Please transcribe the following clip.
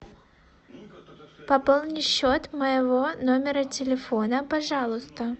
пополни счет моего номера телефона пожалуйста